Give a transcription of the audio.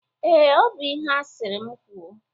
Ee, ọ bụ ihe asịrị m kwọ